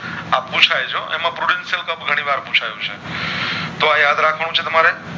આ પૂછય છે હો એમાં Productive cup ઘણી વાર પૂછ્યું છે તો આ યાદ રાખવાનું છે તમારે